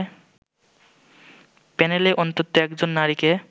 প্যানেলে অন্তত একজন নারীকে